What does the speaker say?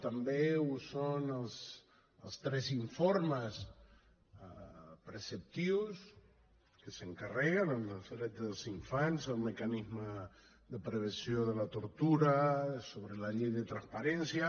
també ho són els tres informes preceptius que s’encarreguen el dels drets dels infants el mecanisme de prevenció de la tortura sobre la llei de transparència